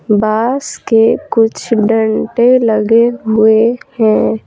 बास के कुछ डंटे लगे हुए है।